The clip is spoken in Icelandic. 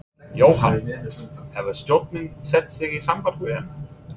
Jóhann: Hefur stjórnin sett sig í samband við hana?